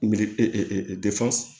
Miliyɔn